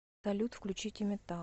салют включите метал